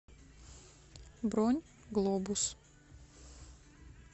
бронь глобус